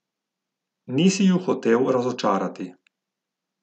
Nisi ju hotel razočarati.